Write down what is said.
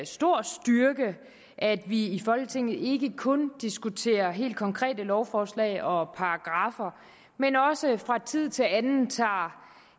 stor styrke at vi i folketinget ikke kun diskuterer helt konkrete lovforslag og paragraffer men også fra tid til anden tager